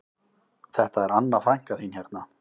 Þetta er Anna frænka þín hérna